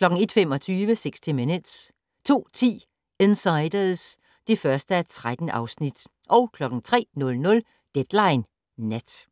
01:25: 60 Minutes 02:10: Insiders (1:13) 03:00: Deadline Nat